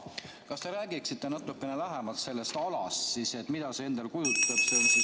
Kas te räägiksite natukene lähemalt sellest alast, mida see endast kujutab?